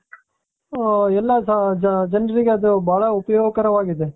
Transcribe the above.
ಊo ಎಲ್ಲಾ ಜನರಿಗೆ ಅದು ಬಹಳ ಉಪಯೋಗಕರವಾಗಿದೆ .